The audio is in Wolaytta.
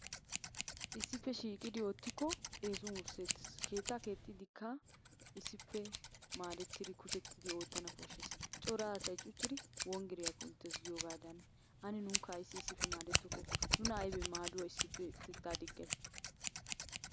Issippe shiiqidi oottiko eessuwan wurssetees. Leettaa keexxiidikka issippe shiiqidia maaddettida corattidi oottana koshshees. Cora asay cuchchidi wonggiriya kunttees giyoogadan ane nuukka issippe maaddetokko? Nuna aybbe maadduwaa issippe utteta diggiyay?